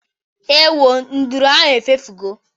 Ewo, nduru ahụ efefugo